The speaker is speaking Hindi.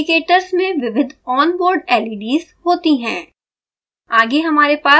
इंडीकेटर्स में विविध onboard leds होती हैं